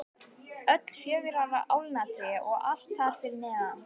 Öll fjögurra álna tré og allt þar fyrir neðan.